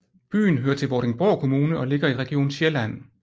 Byen hører til Vordingborg Kommune og ligger i Region Sjælland